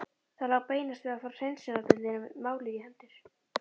Það lá beinast við að fá hreinsunardeildinni málið í hendur.